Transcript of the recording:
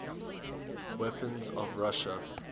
weapons of russia